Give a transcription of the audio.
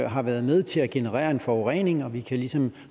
har været med til at generere en forurening og vi ligesom